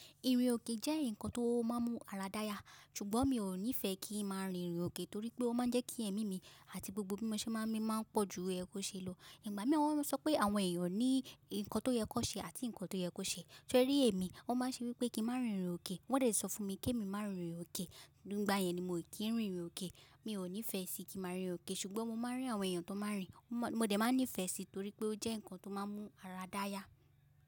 Ìrìn òkè jẹ́ ǹkan tó máa ń mú ara dáya, ṣùgbọ́n mi ò nífẹẹ kí n máa rìn ìrìn òkè torí pé ó máa ń jẹ́ kí ẹ̀mí mi àti gbogbo bímọṣẹ́ máa ń mí máa ń pọ̀ ju ẹkó ṣe lọ. Ìgbà mìíràn wọn sọ pé àwọn èèyàn ní ǹkan tó yẹ kó ṣe àti ǹkan tó yẹ kó ṣe. Sọ rí èmi, oo máa ń ṣe mi pé kí n má rìn ìrìn òkè, wọ́n dẹ̀ sọ fún mi kí èmi má ri rìn òkè. Nígbà yẹn ni mò kí ń ri rìn òkè. Mi ò nífẹẹ sí kí ma máa rìn òkè ṣùgbọ́n mo máa ń rí àwọn èèyàn tó máa ń rìn. Mo dẹ̀ máa nífẹẹ sí torí pé ó jẹ́ ǹkan tó máa ń mú ara dáya.